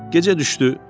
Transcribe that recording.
Gecə düşdü.